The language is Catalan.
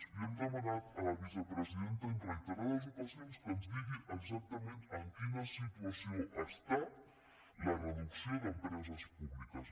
li hem demanat a la vicepresidenta en reiterades ocasions que ens digui exactament en quina situació està la reducció d’empreses públiques